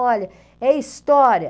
Olha, é história.